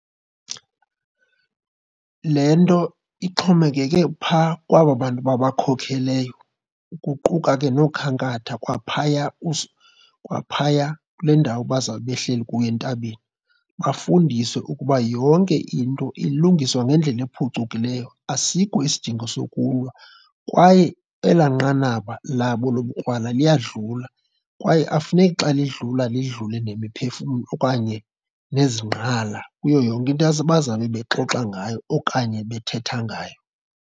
Le nto ixhomekeke phaa kwaba bantu babakhokheleyo, kuquka ke nookhankatha kwaphaya kwaphaya kule ndawo bazawube behleli kuyo entabeni. Bafundiswe ukuba yonke into ilungiswa ngendlela ephucukileyo, asikho isidingo sokulwa kwaye elaa nqanaba labo yobukrwala liyadlula. Kwaye akufuneki xa lidlula, lidlule nemiphefumlo okanye nezingqala kuyo yonke into bazawube bexoxa ngayo okanye bethetha ngayo.